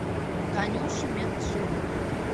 танюши меджидовой